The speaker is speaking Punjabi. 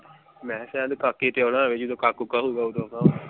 ਮੈਂ ਕਿਹਾ ਸ਼ਾਈਦ ਕਾਕੇ ਤੇ ਆਉਣਾ ਹੋਵੇ ਜਦੋਂ ਕਾਕਾ ਕੂਕਾ ਹੋਊਗਾ ਓਦੋ ਆਉਣਾ ਹੋਵੇ।